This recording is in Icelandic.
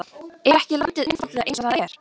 Er ekki landið einfaldlega eins og það er?